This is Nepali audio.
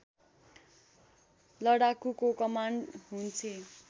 लडाकुको कमान्ड हुन्छे